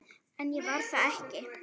En ég var það ekki.